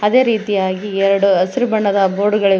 ಅದೇ ರೀತಿಯಾಗಿ ಎರಡು ಹಸಿರು ಬಣ್ಣದ ಬೋರ್ಡ್ ಗಳಿವೆ.